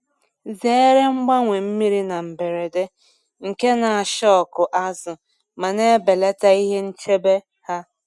Zere mgbanwe mmiri na mberede nke na ashọkụ azụ ma na-ebelata ihe nchebe ha.